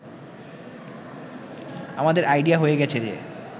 “আমাদের আইডিয়া হয়ে গেছে যে